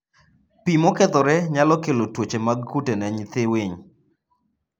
Pi mokethore nyalo kelo tuoche mag kute ne nyithii winy.